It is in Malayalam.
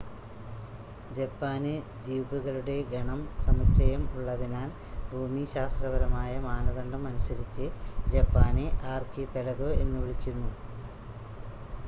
"ജപ്പാന് ദ്വീപുകളുടെ ഗണം/സമുച്ചയം ഉള്ളതിനാൽ ഭൂമിശാസ്ത്രപരമായ മാനദണ്ഡം അനുസരിച്ച് ജപ്പാനെ "ആർകിപെലഗൊ" എന്ന് വിളിക്കുന്നു.